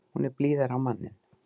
Hún er blíðari á manninn.